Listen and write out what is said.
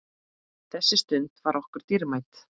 Þessi stund var okkur dýrmæt.